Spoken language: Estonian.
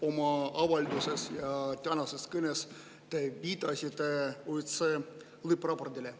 Oma avalduses ja tänases kõnes te viitasite OSCE lõppraportile.